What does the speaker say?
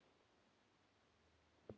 Mímir var guð djúprar visku.